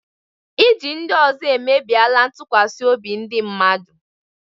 Iji ndị ọzọ emebiela ntụkwasị obi ndị mmadụ.